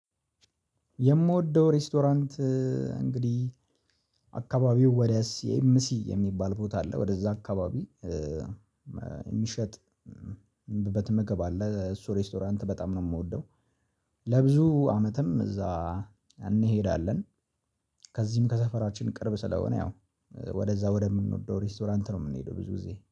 የምወደው ሬስቶራንት እንግዲህ አካባቢው ወዲያስ ሲኤምሲ የሚባል ቦታ አለ ወደዛ አካባቢ የሚሸጥ በትምገብ አለ እሱ ሬስቶራንት በጣም ነው የምወደው። ለብዙ አመትም እዛ እንሄዳለን። ከዚህም ከሰፈራችን ቅርብ ስለሆነ ያው ወደዛ ወደምንወደው ሬስቶራንት ነው የምንሄደው ብዙ ጊዜ